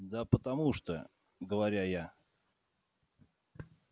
да потому что говоря я